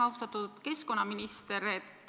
Austatud keskkonnaminister!